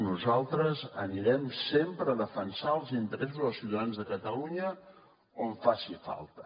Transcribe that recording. nosaltres anirem sempre a defensar els interessos dels ciutadans de catalunya on faci falta